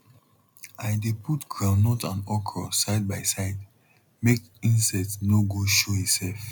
i dey put groundnut and okra side by side make insect nor go show e self